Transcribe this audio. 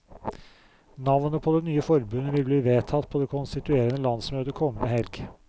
Navnet på det nye forbundet vil bli vedtatt på det konstituerende landsmøtet kommende helg.